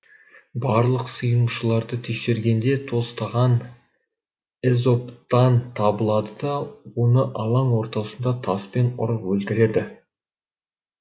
барлық сыйынушыларды тексергенде тостаған эзоптан табылады да оны алаң ортасында таспен ұрып өлтіреді